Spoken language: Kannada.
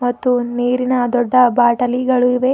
ಮತ್ತು ನೀರಿನ ದೊಡ್ಡ ಬಾಟಲಿಗಳು ಇವೆ.